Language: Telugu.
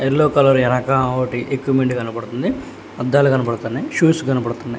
ఎల్లో కలర్ ఎనక ఒకటి ఎక్కుమెంట్ కనపడుతుంది అద్దాలు కనబడుతున్నాయ్ షూస్ కనపడుతున్నాయ్.